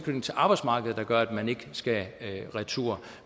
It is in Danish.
arbejdsmarkedet der gør at man ikke skal retur